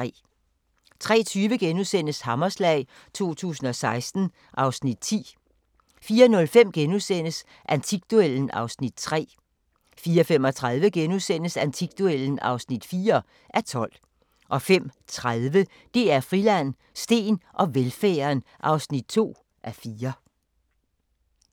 03:20: Hammerslag 2016 (Afs. 10)* 04:05: Antikduellen (3:12)* 04:35: Antikduellen (4:12)* 05:30: DR Friland: Steen og velfærden (2:4)